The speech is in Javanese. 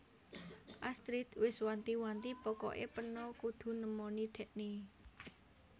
Astrid wes wanti wanti pokok e peno kudu nemoni dhekne